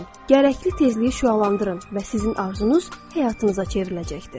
Gərəkli tezliyi şüalandırın və sizin arzunuz həyatınıza çevriləcəkdir.